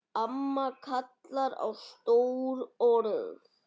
Amma kallar á stór orð.